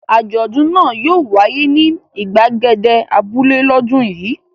Àjọ̀dún náà yóò wáyé ní ìgbàgede abúlé lọ́dún yìí.